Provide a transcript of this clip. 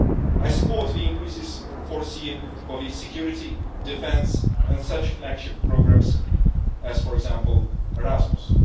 I support the increases foreseen for the security, defence and such flagship programmes as, for example, Erasmus.